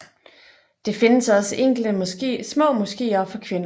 Det findes også enkelte små moskeer for kvinder